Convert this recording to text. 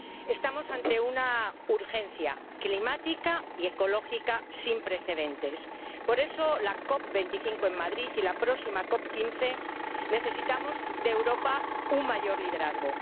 Estamos ante una urgencia climática y ecológica sin precedentes. Por eso, en la COP 25 en Madrid y en la próxima COP 15 necesitamos de Europa un mayor liderazgo.